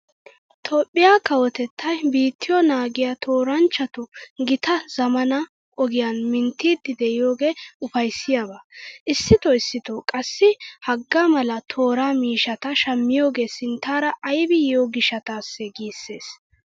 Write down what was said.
Toophphiya kawotettay biittiyo naagiya tooranchchatu gittaa zammaana ogiyan minttiiddi de'iyogee ufayssiyaba. Issitoo issitoo qassi hagaa mala tooraa miishshata shammiyogee sinttaara aybi yiyo gishshataassee giissees.